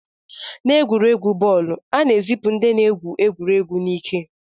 N'egwuregwu bọọlụ, a na-ezipụ ndị na-egwu egwuregwu n'ike